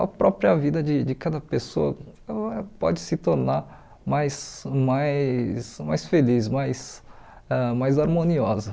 a própria vida de de cada pessoa ela pode se tornar mais mais mais feliz, mais ãh mais harmoniosa.